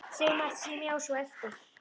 Sagði margt sem ég sá svo eftir.